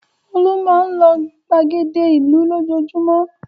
Olú máa ń lọ ìgbàgede ìlú lójoojúmọ́.